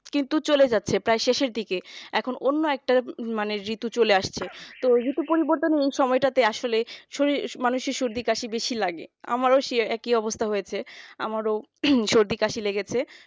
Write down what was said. কিন্তু চলে যাচ্ছে প্রায় শেষের দিকে এখন অন্য একটা মানে ঋতু চলে আসছে তো ঋতু পরিবর্তনই সময়টা আসলে শরীর মানুষের শরীর মানুষের সর্দি কাশি বেশি লাগে আমারই সে একই অবস্থা হয়েছে আমারও সর্দি কাশি লেগেছে